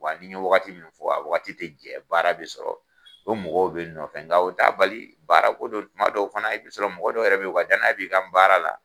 Wa ni n ye wagati min fɔ a wagati tɛ jɛ baara bɛ sɔrɔ o mɔgɔw bɛ ye nɔ fɛn n ka o t'a bali baara ko do tuma dɔw fana i bɛ sɔrɔ mɔgɔ dɔw yɛrɛ bɛ ye u ka danaya b'i kan baara la.